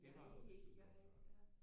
Det var jo super før